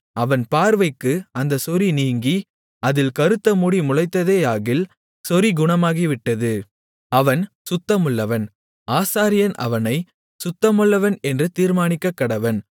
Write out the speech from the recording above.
அவன் பார்வைக்கு அந்தச் சொறி நீங்கி அதில் கறுத்தமுடி முளைத்ததேயாகில் சொறி குணமாகிவிட்டது அவன் சுத்தமுள்ளவன் ஆசாரியன் அவனைச் சுத்தமுள்ளவன் என்று தீர்மானிக்கக்கடவன்